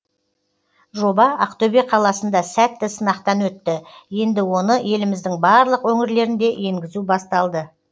жоба ақтөбе қаласында сәтті сынақтан өтті енді оны еліміздің барлық өңірлерінде енгізу басталды